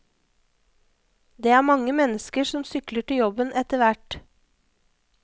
Det er mange mennesker som sykler til jobben etterhvert.